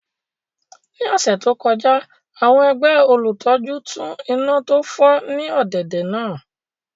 Ní ọ̀sẹ̀ tó kọjá àwọn ẹgbẹ́ olùtọ́jú tún iná tó fọ́ ní ọ̀dẹ̀dẹ̀ náà